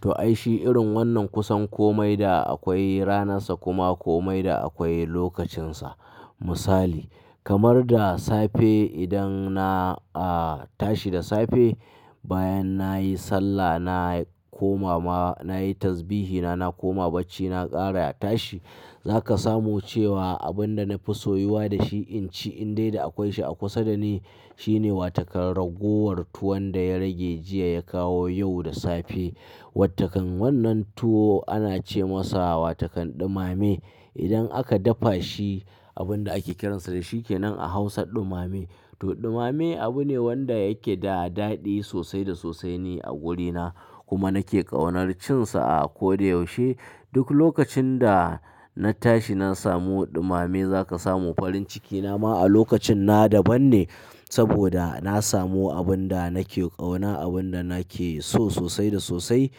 To, ai shi irin wannan kusan komai da akwai ranarsa kuma komai da akwai lokacinsa. Misali kamar da safe idan na, a, tashi da safe bayan nayi sallah na koma ma nayi tazbihi na na koma bacci na ƙara tashi. Za ka samu cewa abin da na fi so yiwa da shi in ci in dai da akwai shi a kusa da ni shine wa takan ragowar tuwon da ya rage jiya ya kawo yau da safe. Wa takan wannan tuwo ana ce masa wa takan ɗumame. Idan aka dafa shi abun da ake kiransa da shi kenan a Hausa ɗumame. To ɗumame abu ne wanda yake da daɗi sosai da sosai ni a gurina kuma nake ƙaunar cin sa a ko da yaushe. Duk lokacin da na tashi na samu ɗumame za ka samu farin ciki na ma a lokacin na daban ne saboda na samu abun da nake ƙauna, abun da nake so sosai da sosai.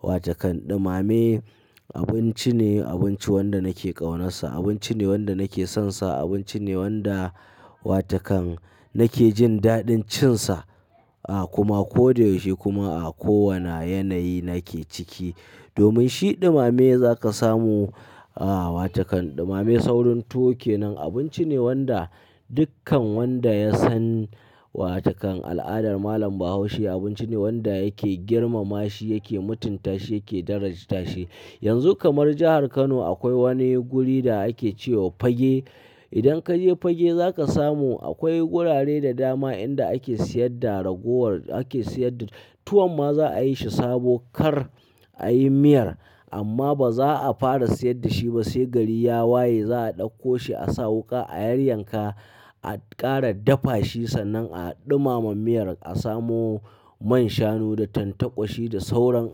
Wa takan ɗumame abinci ne, abinci wanda nake ƙaunarsa, abinci ne wanda nake sonsa, abinci ne wanda wa takan nake jin daɗin cin sa, a, kuma ko da yaushe kuma a kowane yanayi nake ciki. Domin shi ɗumame za ka samu, a, wa takan ɗumame saurin tuwo kenan abinci ne wanda dukkan wanda ya san wa takan al'adar malam Bahaushe abinci ne wanda yake girmama shi, yake mutunta shi, yake daraja shi. Yanzu kamar jahar Kano akwai wani guri da ake ce wa Fagge. Idan ka je Fagge za ka samu akwai gurare da dama inda ake siyar da ragowar ake siyar da tuwon ma za a yi shi sabo kar a yi miyar amma ba za a fara siyar da shi ba sai gari ya waye za a ɗauko shi a sa wuƙa a yayyanka a ƙara dafa shi sannan a ɗumama miyar a samo man shanu da tantakwa shi da sauran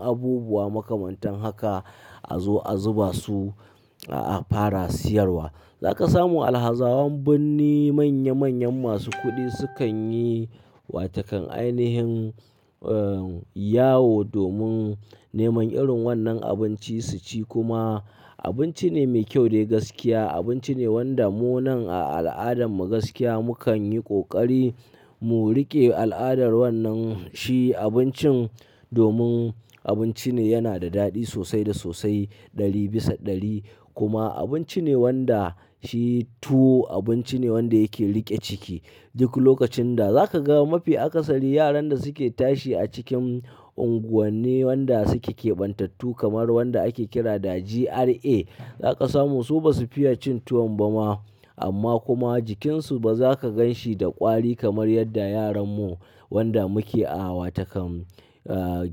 abubuwa makamantan haka a zo a zuba su, a, a fara siyarwa. Za ka samu alhazawan birni manya manyan masu kuɗi sukan yi wa takan ainihin, eh, yawo domin neman irin wannan abinci su ci kuma abinci ne mai kyau dai gaskiya. Abinci ne wanda mu nan a al'adarmu gaskiya mu kan yi ƙoƙari mu riƙe al'adar wannan shi abincin domin abinci ne yana da daɗi sosai da sosai ɗari bisa ɗari kuma abinci ne wanda shi tuwo abinci ne wanda yake riƙe ciki. Duk lokacin da za ka ga mafi akasari yaran da suke tashi a cikin unguwanni wanda suke kebantattu kamar wanda ake kira da GRA za ka samu su ba su fiye cin tuwon ba ma amma kuma jikinsu ba za ka gan shi da ƙwari kamar yadda yaran mu wanda muke a wa takan, eh,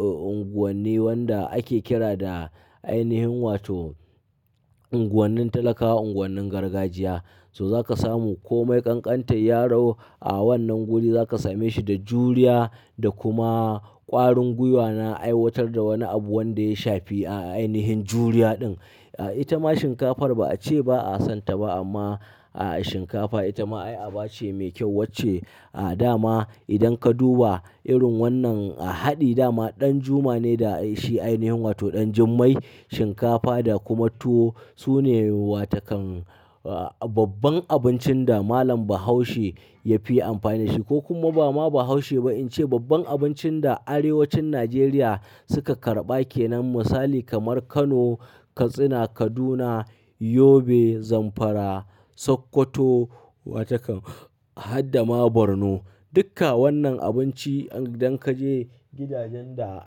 unguwanni wanda ake kira da ainihin wato unguwannin talakawa, unguwannin gargajiya. To za ka samu komai ƙanƙantar yaro a wannan guri za ka same shi da juriya da kuma ƙwarin gwiwa na aiwatar da wani abu wanda ya shafi ainihin juriya din. Itama shinkafar ba a ce ba a son ta ba amma shinkafa itama ai aba ce mai kyau wacce a, dama idan ka duba irin wannan a haɗe dama ɗan juma'ne da shi ainihin wato ɗan jimmai shinkafa da kuma tuwo su ne wa takan, a, babban abincin da malam Bahaushe ya fi amfani shi ko kuma ba ma Bahaushe ba in ce babban abincin da arewacin Najeriya suka karɓa kenan misali kamar Kano, Katsina, Kaduna, Yobe, Zamfara, Sokoto wa takan har dama Borno. Dukka wannan abinci idan ka je gidajen da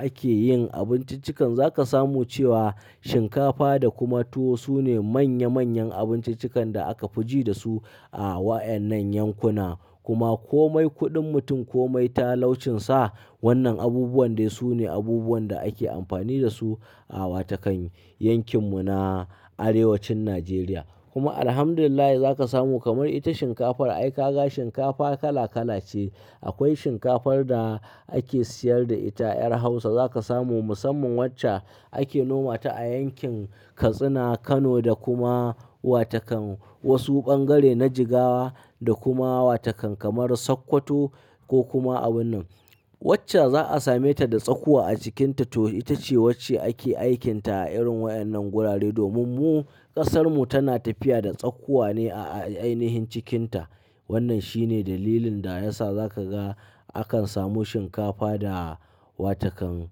ake yin abinciccikan za ka samu cewa shinkafa da kuma tuwo su ne manya manyan abinciccikan da aka fiji da su a wa'yan nan yankuna kuma komai kuɗin mutum komai talaucin sa wannan abubuwan dai su ne abubuwan da ake amfani da su a wa takan yankin mu na arewacin Najeriya. Kuma Alhamdulillah za ka samu kamar ita shinkafar ai ka ga shinkafa kala kala ce. Akwai shinkafar da ake siyar da ita 'yar Hausa za ka samu musamman wacce ake noma ta a yankin Katsina, Kano da kuma wa takan wasu bangare na Jigawa da kuma wa takan kamar Sokoto ko kuma abun nan. Wacce za a same ta da tsakuwa a cikinta to ita ce wacce ake aikinta a irin wa'yan nan gurare domin mu ƙasar mu tana tafiya da tsakuwa ne a ainihin cikinta. Wannan shi ne dalilin da ya sa za ka ga akan samu shinkafa da wa takan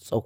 tsakuwa.